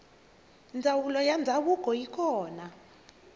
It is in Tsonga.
ndzanulo yandzavuko yikona